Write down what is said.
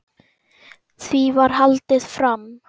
Því var haldið fram að